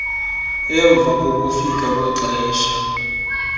emva kokufika kwexesha